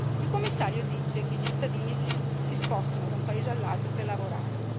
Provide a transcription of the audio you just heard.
Il Commissario afferma che i cittadini si spostano da un paese all'altro per lavorare.